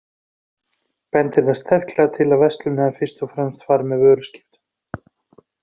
Bendir það sterklega til að verslunin hafi fyrst og fremst farið fram með vöruskiptum.